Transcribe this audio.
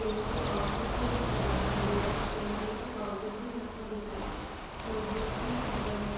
Pen के pouches भी यहां पर दिखाई दे रहे हैं पेन से लिखे पाउचेस भी यहां पर दिखाई दे रहे हैं नोटबुक भी यहां पर है।